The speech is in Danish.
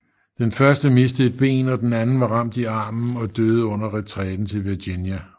Den første mistede et ben og den anden var ramt i armen og døde under retræten til Virginia